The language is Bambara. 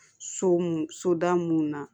So mun soda mun na